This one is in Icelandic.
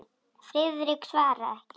Friðrik svaraði ekki.